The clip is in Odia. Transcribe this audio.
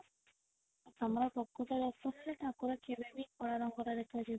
ତମର ପ୍ରକୃତ ଦର୍ଶନରେ ଠାକୁର କେବେ ବି କଳା ରଙ୍ଗର ଦେଖା ଯିବେନି